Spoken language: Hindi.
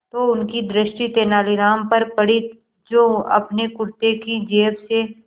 तो उनकी दृष्टि तेनालीराम पर पड़ी जो अपने कुर्ते की जेब से